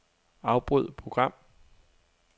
Afbryd program.